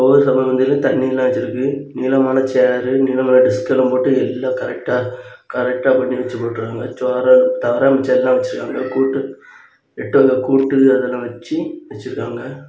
ஒரு சமபந்தியில தண்ணியெல்லாம் வச்சிருக்கு நீளமான சேர் நீளமான டெஸ்க் எல்லாம் போட்டு எல்லா கரெக்டா கரெக்டா பண்ணி வச்சு போட்டு இருக்காங்க சோறு தவிர மிச்ச எல்லா வச்சுருக்காங்க கூட்டு எட்டு வக கூட்டு அதுல வச்சி வச்சிருக்காங்க.